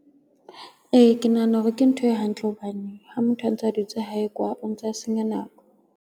Ee, ke nahana hore ke ntho e hantle hobane ha motho a ntsa a dutse hae kwa o ntsa senya nako.